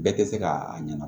Bɛɛ tɛ se ka a ɲɛna